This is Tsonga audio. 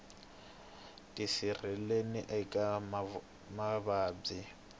tisirheleli eka mavabyi